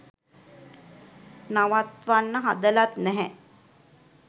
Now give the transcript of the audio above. නවත්වන්න හදලත් නැහැ